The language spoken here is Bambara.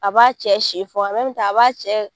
A b'a cɛ si fɔ a b'a cɛ